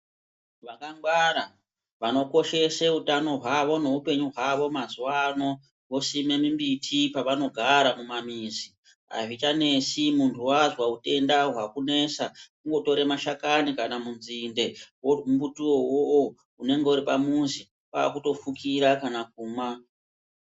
Vaka ngwara vano koshese utano hwawo ne upenyu hwawo mazuva ano vosime mi mbiti pavano gara mu ma mizi azvicha nesi muntu wazwa utenda hwaku nesa kungo tora mashakani kana mu nzinde wo mbuti wowo unenge uri pa muzi kwakuto fukira kana kumwa.